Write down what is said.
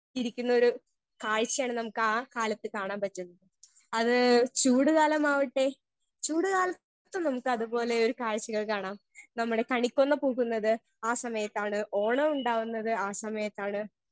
Speaker 1 ഇരിക്കുന്നൊരു കാഴ്ച്ചയാണ് നമുക്കാ കാലത്ത് കാണാൻ പറ്റുന്നത് അത് ചൂട് കാലമാവട്ടെ ചൂട് കാലത്തും നമുക്ക് അതുപോലെ ഒരു കാഴ്ച്ചകൾ കാണാം നമ്മുടെ കണിക്കൊന്ന പൂക്കുന്നത് ആ സമയത്താണ് ഓണം ഉണ്ടാവുന്നത് ആ സമയത്താണ്.